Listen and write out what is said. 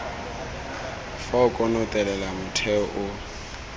fa o konotelela motheo o